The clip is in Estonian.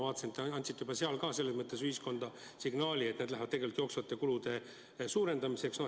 Ma vaatasin, te andsite seal ühiskonnale signaali, et need lähevad tegelikult jooksvate kulude suurendamiseks.